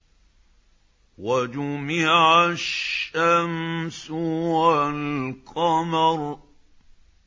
وَجُمِعَ الشَّمْسُ وَالْقَمَرُ